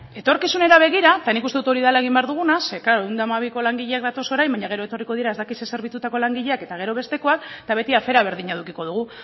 etorkizunera begira eta nik uste dut hori dela egin behar duguna ze klaro ehun eta hamabiko langileak datoz orain baina gero etorriko dira ez dakit ze zerbitzutako langileak eta gero bestekoak eta beti afera berdina edukiko dugu